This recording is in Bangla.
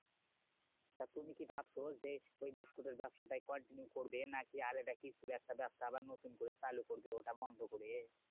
তা তুমি কি ভাবছো? যে ওই বিস্কুটের ব্যাবসাটাই কয়েকদিন করবে? না কি আরেকটা কিছুর একটা ব্যাবসা আবার নতুন করে চালু করবে ওটা বন্ধ করে?